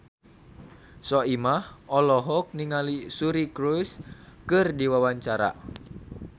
Soimah olohok ningali Suri Cruise keur diwawancara